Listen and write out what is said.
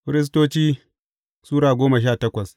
Firistoci Sura goma sha takwas